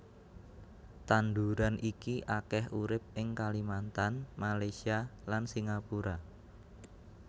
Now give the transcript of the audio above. Tanduran iki akèh urip ing Kalimantan Malaysia lan Singapura